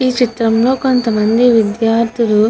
ఈ చిత్రం లో కొంతమంది విద్యార్థులు --